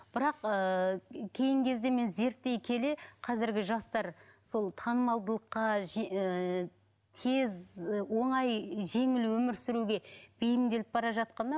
бірақ ыыы кейінгі кезде мен зерттей келе қазіргі жастар сол танымалдылыққа ііі тез оңай жеңіл өмір сүруге бейімделіп бара жатқанда